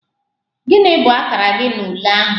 Gị bụ akara gị na ule ahụ?